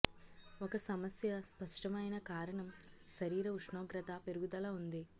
ఒక సమస్య స్పష్టమైన కారణం శరీర ఉష్ణోగ్రత పెరుగుదల ఉంది